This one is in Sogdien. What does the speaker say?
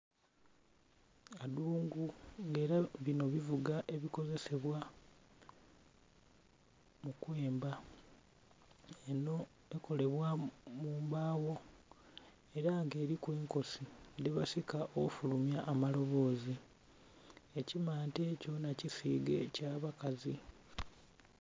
Adungu, nga ela bino bivuga ebikozesebwa okwemba. Enho ekolebwa mu mbaawo. Ela nga eliku enkosi dhebasika okufulumya amaloboozi. Ekimante kyona kisiige eky'abakazi.